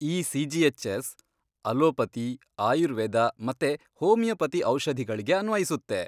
ಈ CGHS. Allopathy, Ayurveda ಮತ್ತೆ homeopathy ಔಷಧಿಗಳ್ಗೆ ಅನ್ವಯಿಸುತ್ತೆ.